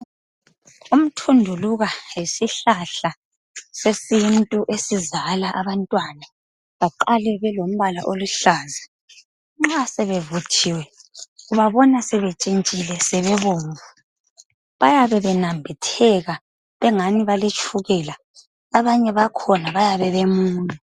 Umthunduluka yisihlahla sesintu esizala abantwana baqale belimbala oluhlaza nxa sebevuthiwe ubabina sebetshintshile sebebomvu. Bayabe benambitheka bengani baletshukela. Abanye bakhona bayabe bemunyu.